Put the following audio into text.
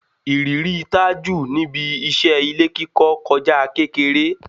Ìrírí Tájù níbi iṣẹ́ ilé kíkọ kọjá kékeré